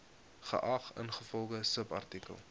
geag ingevolge subartikel